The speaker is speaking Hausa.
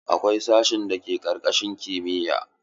Akwai sashen da ke karkashin kimiya.